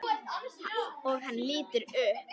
Og hann lítur upp.